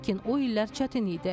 Lakin o illər çətin idi.